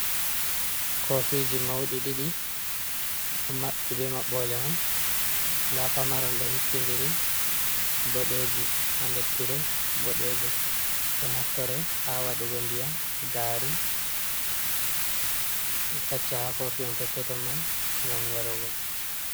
Kofiji mauɗi ɗiɗi, ɗo maɓɓi be maɓɓole mun. Nda pamaron ɗo hippindiri, boɗeeji ha nder tire boɗejum. Ɗon naftore ha waɗugo ndiyam, gari, ɗum facca ha kofi hon peppeton mai, ngam yarugo.